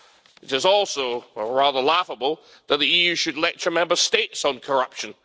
It is also rather laughable that the EU should lecture Member States on corruption.